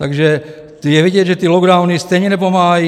Takže je vidět, že ty lockdowny stejně nepomáhají.